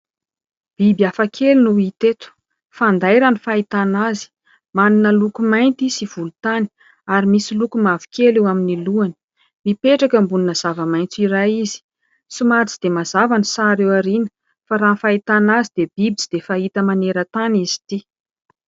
Biby hafa kely no hita eto, fanday raha ny fahitana azy, manana loko mainty sy volontany ary misy loko mavokely eo amin'ny lohany, mipetraka ambonina zavamaitso iray izy, somary tsy dia mazava ny sary eo aoriana fa raha ny fahitana azy dia biby tsy dia fahita maneran-tany izy ity.